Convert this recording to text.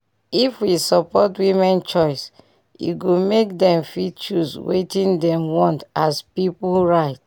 if we support women choice e go make dem fit choose wetin dem want as pipu right